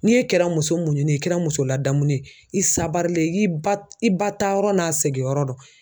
N'i e kɛra muso muɲu ne ye i kɛra muso ladamu ye i sabarile i ba i ba taa yɔrɔ n'a seginyɔrɔ dɔ.